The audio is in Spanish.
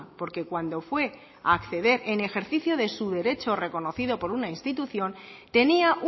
porque cuando fue a acceder en ejercicio de su derecho reconocido por una institución tenía